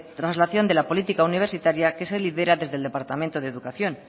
traslación de la política universitaria que se lidera desde el departamento de educación